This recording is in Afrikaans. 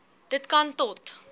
dit kan tot